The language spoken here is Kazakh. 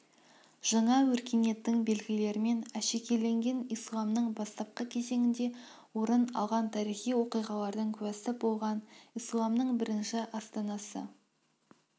жаңа өркениеттің белгілерімен әшекейленген исламның бастапқы кезеңінде орын алған тарихи оқиғалардың куәсі болған исламның бірінші астанасы